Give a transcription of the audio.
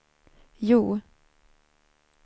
Hjo